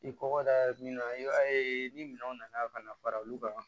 I kɔkɔda min na i b'a ye ni minɛnw nana ka na fara olu kan